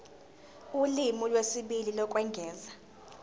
ulimi lwesibili lokwengeza